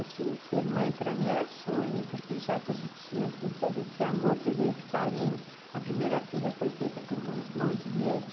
Assim, ser mãe para mim era sonho, porque já que a gente tinha assim todo esse amor, todo esse carinho, a primeira filha foi feita por mão mão de médico.